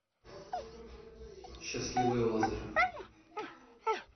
счастливый лазарь